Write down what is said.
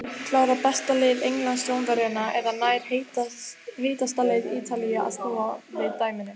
Klárar besta lið Englands Rómverjana eða nær heitasta lið Ítalíu að snúa við dæminu?